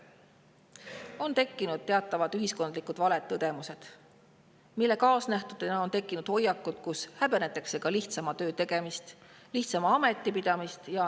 On tekkinud teatavad ühiskondlikud valed tõdemused, mille kaasnähtusena on tekkinud hoiakud, mille tõttu häbenetakse lihtsama töö tegemist ja lihtsama ameti pidamist.